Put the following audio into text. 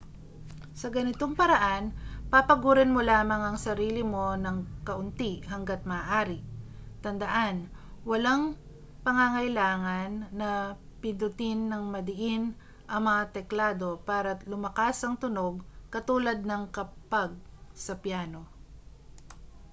sa ganitong paraan papagurin mo lamang ang sarili mo nang kaunti hangga't maaari tandaan walang pangangailangan na pindutin nang madiin ang mga teklado para lumakas ang tunog katulad ng kapag sa piyano